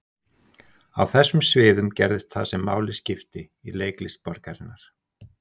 Á þessum sviðum gerðist það sem máli skipti í leiklist borgarinnar.